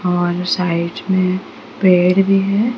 और साइज में पेड़ भी है।